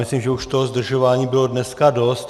Myslím, že už toho zdržování bylo dneska dost.